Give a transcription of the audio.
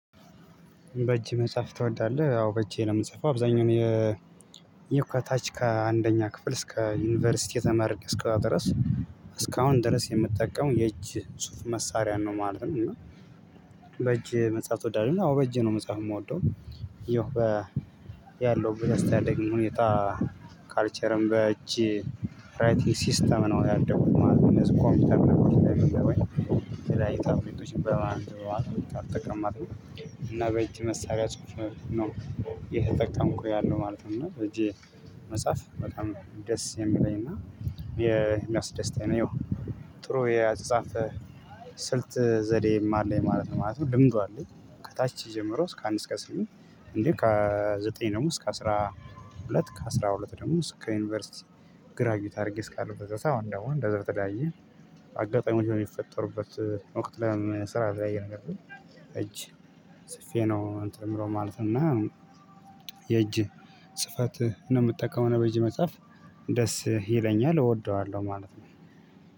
በእጄ መጻፍ ትወዳለህ አዎ በእጄ ነው የምጽፈው አብዛኛውን የ ከታች ከአንደኛ ክፍል እስከ ዩኒቨርሲቲ የተመርቄ እስክወጣ ድረስ እስካሁን ድረስ የምትጠቀመው የእጅ ጽሁፍ መሳሪያ ነው ማለት ነው። እና ነው በእጅ መጻፍ ትወዳለህ? አዎ በእጄ ነው መጻፍ የምወደው። ያው በ ያለው ያስተዳደጌ ሁኔታ። ካልቸርም በእጅ ራይቲንግ ሲስተም ነው ያደጉት ማለት ነው። እነዚህ ኮምፒውተር ነገሮች ወይ የተለያዩ ታብሌቶችን በማን አልጠቀምም ማለት ነው። እና በእጅ መሳሪያ ጽሁፍ ነው እየተጠቀምኩ ያለው ማለት ነው። እና በእጄ መጻፍ በጣም ነው ደስ የሚለኝና የሚያስደስተኝ ነው። ይኸው ጥሩ የአጻጻፍ ስልት ዘዴም አለኝ ማለት ነው። ልምዱ አለኝ። ከታች ጀምሮ እስከ አንድ እስከ ስምንት እንዴ? ከዘጠኝ ደግሞ እስከ አስራ ሁለት ከአስራ ሁለት ደግሞ እስከ ዩኒቨርሲቲ ግራጁዬት አድርጌ እስካለሁበት አሁን ደግሞ እንደዛው የተላያየ አጋጣሚ ነው የሚፈጠሩበት። ወቅት ለምን? ስራ ላይ ነገር እጅ ጽፌ ነው እንትን ምናምን ማለት ነው። እና የእጅ ጽህፈት ነው የምትጠቀመው በእጅ መጻፍ ደስ ይለኛል እወደዋለሁ ማለት ነው።